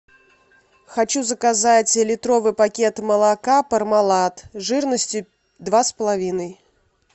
хочу заказать литровый пакет молока пармалат жирностью два с половиной